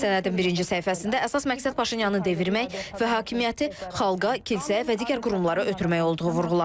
Sənədin birinci səhifəsində əsas məqsəd Paşinyanı devirmək və hakimiyyəti xalqa, kilsəyə və digər qurumlara ötürmək olduğu vurğulanır.